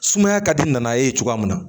Sumaya ka di nana ye cogoya min na